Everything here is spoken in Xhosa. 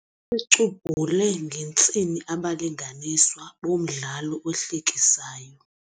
icubhule ngentsini abalinganiswa bomdlalo ohlekisayo.